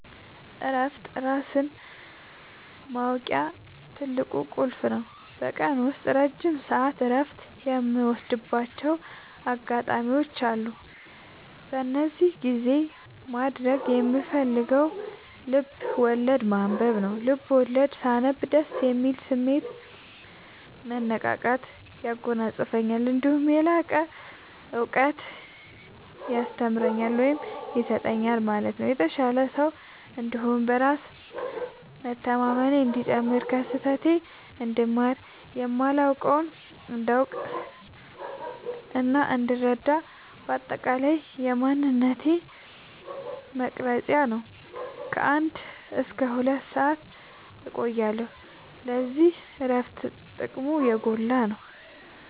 እረፍት ራስን ማወቂያ ትልቁ ቁልፍ ነው። በቀን ውስጥ ረጅም ሰዓት እረፍት የምወስድባቸው አጋጣዎች አሉ። በዚህ ጊዜ ማድረግ የምፈልገው ልብዐወለድ ማንበብ ነው፤ ልቦለድ ሳነብ ደስ የሚል ስሜት፣ መነቃቃት ያጎናፅፈኛል። እነዲሁም የላቀ እውቀት ያስተምረኛል ወይም ይሰጠኛል ማለትም የተሻለ ሰው እንድሆን፣ በራስ መተማመኔ እንዲጨምር፣ ከስህተቴ እንድማር፣ የማላውቀውን እንዳውቅናእንድረዳ በአጠቃላይ የማንነቴ መቅረጽያ ነው። ከ አንድ እስከ ሁለት ሰአት እቆያለሁ። ስለዚህ እረፍት ጥቅሙ የጎላ ነው።